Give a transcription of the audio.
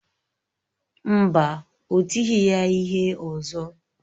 Mba, ọ tighị ya ihe ọzọ.